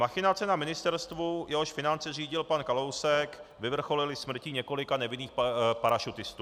Machinace na ministerstvu, jehož finance řídil pan Kalousek, vyvrcholily smrtí několika nevinných parašutistů.